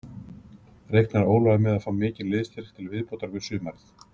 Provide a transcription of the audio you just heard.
Reiknar Ólafur með að fá mikinn liðsstyrk til viðbótar fyrir sumarið?